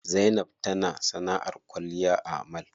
Zainab tana sanaʼar kwalliya a mall.